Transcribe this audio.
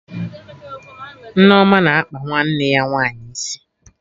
Nneoma na-akpa nwanne ya nwaanyị isi